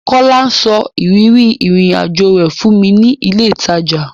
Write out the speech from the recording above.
Kọ́lá sọ ìrírí ìrìn-àjọ rẹ̀ fún mi ní ilé-ìtajà.